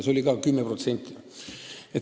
See oli ka 10%.